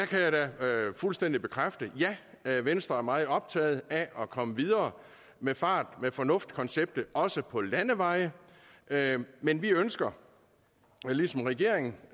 kan da fuldstændig bekræfte at ja venstre er meget optaget af at komme videre med fart med fornuft konceptet også på landeveje men vi ønsker ligesom regeringen